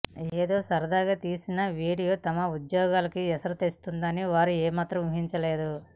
ఏదో సరదాగా తీసిన వీడియో తమ ఉద్యోగాలకు ఎసరు తెస్తుందని వారు ఏమాత్రం ఊహించలేదు